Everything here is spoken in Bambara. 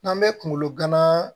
N'an bɛ kungolo gana